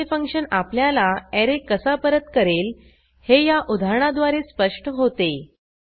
एखादे फंक्शन आपल्याला ऍरे कसा परत करेल हे या उदाहरणाद्वारे स्पष्ट होते